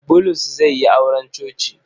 Bulus zai yi auren coci.